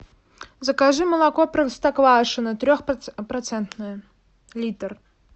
закажи молоко простоквашино трехпроцентное литр